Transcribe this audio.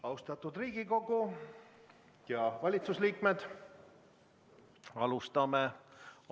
Austatud Riigikogu ja valitsuse liikmed!